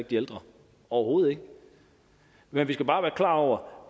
de ældre overhovedet ikke men vi skal bare være klar over